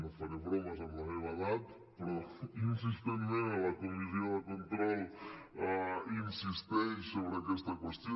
no faré bromes amb la meva edat però insistent·ment a la comissió de control insisteix sobre aquesta qüestió